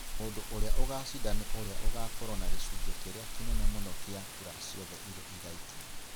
mũndgũ ũria ũgacinda ni ũria ũgaakorũo na gĩcunjĩ kĩrĩa kĩnene mũno kĩa kura ciothe iria igaikio.